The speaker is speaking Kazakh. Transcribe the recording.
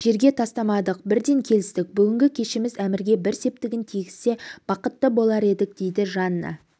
жерге тастамадық бірден келістік бүгінгі кешіміз әмірге бір септігін тигізсе бақытты болар едік дейді жанна